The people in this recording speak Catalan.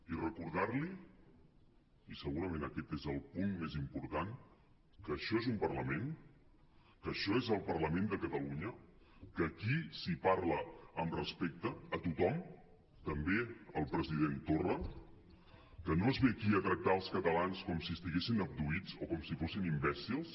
i recordar li i segurament aquest és el punt més important que això és un parlament que això és el parlament de catalunya que aquí s’hi parla amb respecte a tothom també al president torra que no es ve aquí a tractar els catalans com si estiguessin abduïts o com si fossin imbècils